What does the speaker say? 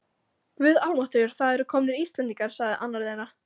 Guð almáttugur, það eru komnir Íslendingar, sagði annar þeirra.